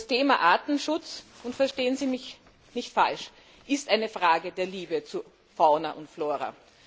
Das Thema Artenschutz und verstehen Sie mich nicht falsch ist eine Frage der Liebe zu Fauna und Flora.